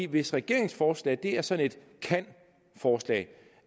hvis regeringsforslaget er sådan et kan forslag